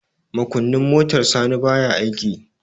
makunnin motar sani baya aiki